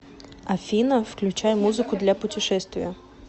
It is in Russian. афина включай музыку для путешествия